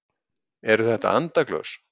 Eru þetta andaglös?